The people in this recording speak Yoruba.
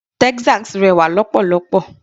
Texas rẹwà lọ́pọ̀lọ́pọ̀.